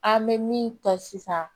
An bɛ min ta sisan